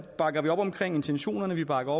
bakker vi op om intentionerne vi bakker